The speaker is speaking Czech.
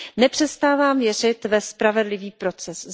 Nepřestávám věřit ve spravedlivý proces.